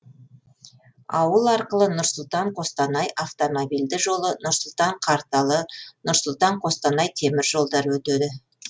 ауыл арқылы нұр сұлтан қостанай автомобильді жолы нұр сұлтан қарталы нұр сұлтан қостанай темір жолдары өтеді